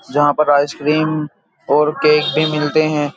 जहाँ पर आइसक्रीम और केक भी मिलते हैं।